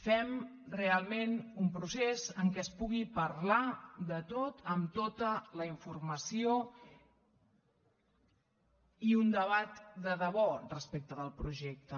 fem realment un procés en què es pugui parlar de tot amb tota la informació i un debat de debò respecte del projecte